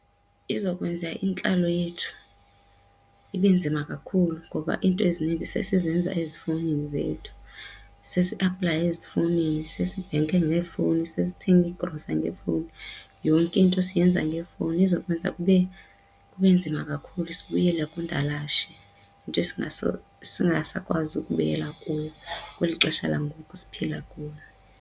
Izawukwenza intlalo yethu ibe nzima kakhulu ngoba into ezinintsi sesizenza ezifowunini zethu. Sesiaplaya ezifowunini, sesibhenka ngeefowuni, sesithanga iigrosa ngeefowuni, yonke into siyenza ngeefowuni. Izawukwenza kube nzima kakhulu sibuyele kundalashe nto esingasakwazi ukubuyela kuyo kweli xesha langoku siphila kulo.